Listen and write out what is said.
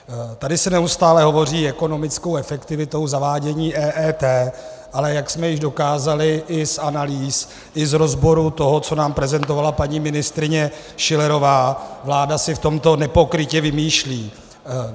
Tady se neustále hovoří ekonomickou efektivitou zavádění EET, ale jak jsme již dokázali i z analýz i z rozborů toho, co nám prezentovala paní ministryně Schillerová, vláda si v tomto nepokrytě vymýšlí.